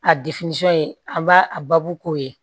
A ye an b'a a baabu k'o ye